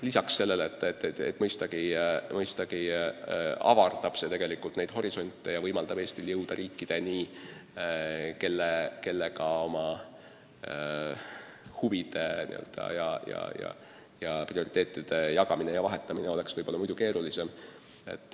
Lisaks sellele mõistagi avardab see meie horisonte ja võimaldab Eestil jõuda riikideni, kellele oma huvide ja prioriteetide selgitamine oleks muidu keerulisem.